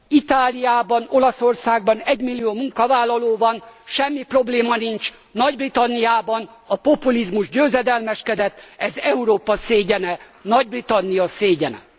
Itáliában, Olaszországban egymillió munkavállaló van, semmi probléma nincs, nagy Britanniában a populizmus győzedelmeskedett ez Európa szégyene, Nagy Britannia szégyene.